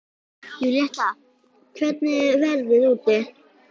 Júlíetta, hvernig er veðrið úti?